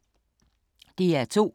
DR2